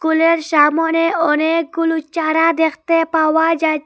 কুল -এর সামনে অনেকগুলো চারা দেখতে পাওয়া যা--